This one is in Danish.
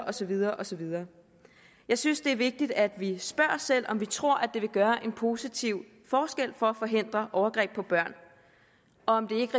og så videre og så videre jeg synes det er vigtigt at vi spørger os selv om vi tror at det gøre en positiv forskel for at forhindre overgreb på børn og om ikke